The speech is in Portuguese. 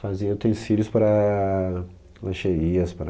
Fazia utensílios para lancheirias, para...